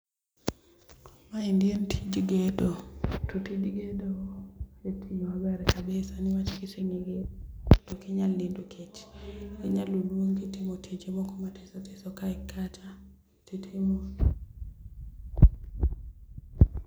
Maendi en tij gedo, to tij gedo en tich maber kabisa niwach kiseng'eyo to ok inyal nindo kech. Inyalo luongi timo tije moko mathiso thiso kae kata titimo